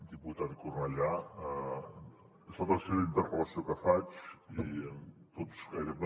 diputat cornellà és la tercera interpel·lació que faig i tots gairebé